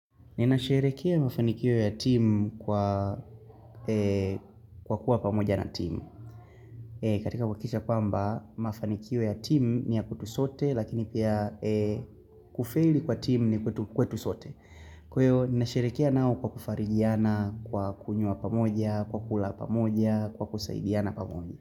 Ninasheherekea mafanikio ya team kwa kuwa pamoja na team. Katika wahakikisha kwamba, mafanikio ya team ni ya kutusote lakini pia kufaili kwa team ni kwetu sote. Kweo, ninasherekea nao kwa kufarijiana, kwa kunyua pamoja, kwa kula pamoja, kwa kusaidiana pamoja.